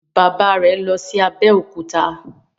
Bàbá rẹ tí lọ sì Abeokuta.